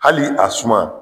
Hali a suma